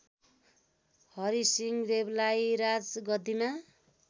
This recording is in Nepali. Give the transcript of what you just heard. हरिसिंह देवलाई राजगद्दिमा